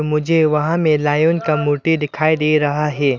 मुझे वहाँ में लायन का मूर्ति दिखाई दे रहा है।